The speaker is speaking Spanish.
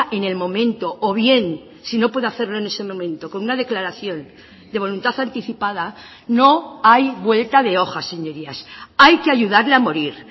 en el momento o bien si no puede hacerlo en ese momento con una declaración de voluntad anticipada no hay vuelta de hoja señorías hay que ayudarle a morir